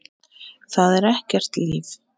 Það er ekkert líf.